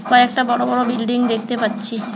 কয়েকটা বড় বড় বিল্ডিং দেখতে পাচ্ছি।